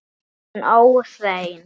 Hún óhrein.